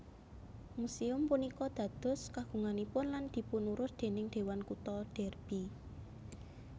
Muséum punika dados kagunganipun lan dipunurus déning Dewan Kutha Derby